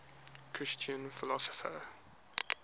christian philosophers